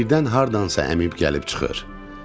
Birdən hardansa əmım gəlib çıxır.